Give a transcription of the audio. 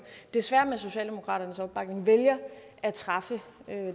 desværre med socialdemokratiets opbakning vælger at træffe